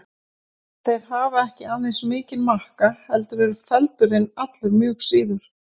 Þeir hafa ekki aðeins mikinn makka heldur eru feldurinn allur mjög síður.